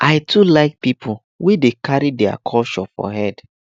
i too like pipo wey dey carry their culture for head